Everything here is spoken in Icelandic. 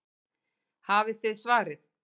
Hafið þið svarið?